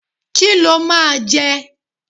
Kí lo máa jẹ?